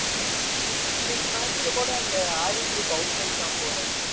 இன்னைக்கு match ல கூட அந்த out ஆயிட்டான் போல